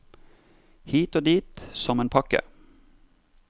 Hit og dit som en pakke.